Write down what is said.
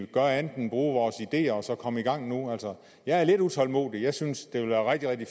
gør andet end at bruge vores ideer og så ser at komme i gang jeg er lidt utålmodig jeg synes det vil være rigtig